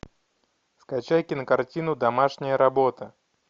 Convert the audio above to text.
скачай кинокартину домашняя работа